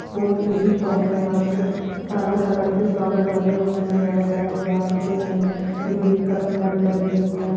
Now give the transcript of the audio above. फूल की शॉप है यहाँ पे सारे कलर के फ्लॉवर लगे हुए है रेड है गुलाब के है ग्रीन पत्तिया भी लगी हुई है।